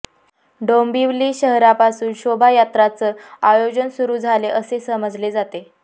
डोंबिवली शहरापासून शोभायात्राचं आयोजन सुरू झाले असे समजले जाते